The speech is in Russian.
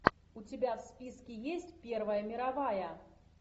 у тебя в списке есть первая мировая